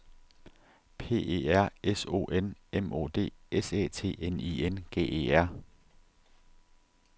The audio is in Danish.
P E R S O N M O D S Æ T N I N G E R